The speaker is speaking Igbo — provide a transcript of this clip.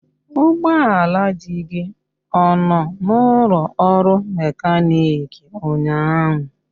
Ụgbọala di gị ọ nọ n'ụlọ ọrụ mekaniki ụnyahụ?